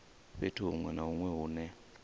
fhethu hunwe na hunwe hune